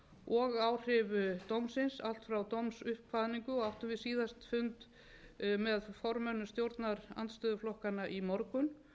og áhrif dómsins allt frá dómsuppkvaðningu og áttum við síðast fund með formönnum stjórnarandstöðuflokkanna í morgun